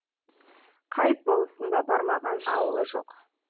қайып болысында бармаған ауылы жоқ